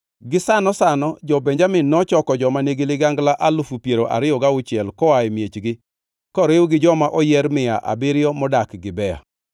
Gisano sano jo-Benjamin nochoko joma nigi ligangla alufu piero ariyo gauchiel koa e miechgi, koriw gi joma oyier mia abiriyo modak Gibea.